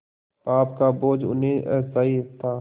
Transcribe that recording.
पाप का बोझ उन्हें असह्य था